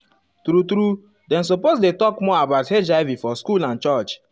true true dem suppose dey talk more about hiv for school and church.